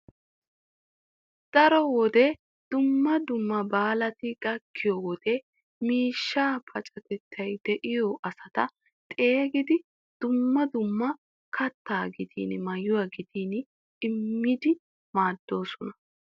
Daro wode dumma dumma baalati gakkiyo wode miishshaa pacatertay diyo asata xeegidi dumma dumma kattaa gidin maayuwa gidin immido maaddoosona.